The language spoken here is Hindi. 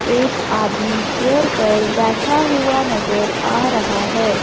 एक आदमी चेयर पर बैठा हुआ नजर आ रहा है।